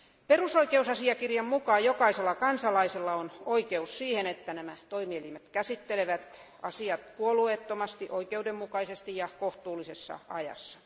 Perusoikeusasiakirjan mukaan jokaisella kansalaisella on oikeus siihen, että nämä toimielimet käsittelevät asiat puolueettomasti, oikeudenmukaisesti ja kohtuullisessa ajassa.